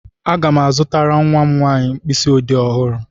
Aga m azụtara nwa m nwaanyị mkpịsị ọdee ọhụrụ.